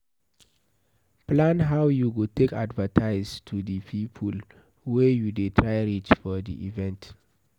Plan how you go take advertise to di people wey you dey try reach for di event